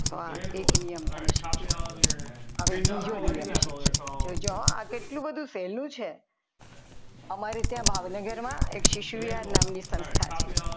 તો આ એક નિયમ તમે શીખ્યા હવે બીજો નિયમ શીખીએ જોજો આ કેટલું બધું સહેલું છે અમારે ત્યાં ભાવનગરમાં એક શીશું વિહાર નામની સંસ્થા છે.